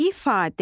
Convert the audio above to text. İfadə